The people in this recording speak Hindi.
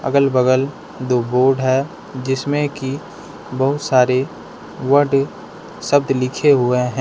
अगल बगल दो बोर्ड है जिसमें की बहुत सारे वर्ड शब्द लिखे हुए हैं।